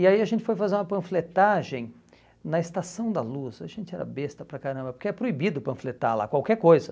E aí a gente foi fazer uma panfletagem na Estação da Luz, a gente era besta para caramba, porque é proibido panfletar lá qualquer coisa.